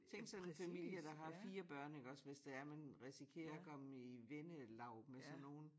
Tænk sådan en familie der har 4 børn iggås hvis det er man risikerer at komme i vennelag med sådan nogen